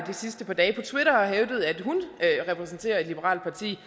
sidste par dage på twitter har hævdet at hun repræsenterer et liberalt parti